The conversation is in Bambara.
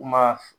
Kuma